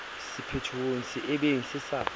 sephethong se ebeng se sa